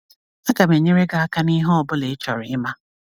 Agam enyere gị aka n'ihe ọ bụla ị chọrọ ịma.